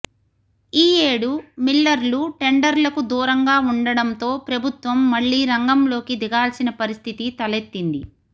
ఈయేడు మిల్లర్లు టెండర్లకు దూరంగా ఉండడంతో ప్రభుత్వం మళ్లీ రంగంలోకి దిగాల్సిన పరిస్థితి తలెత్తింది